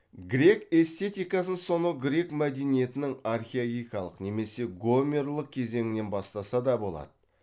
грек эстетикасын сонау грек мәдениетінің архаикалық немесе гомерлік кезеңінен бастаса да болады